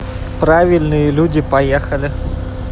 правильные люди поехали